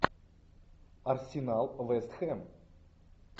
арсенал вест хэм